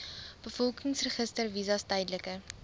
bevolkingsregister visas tydelike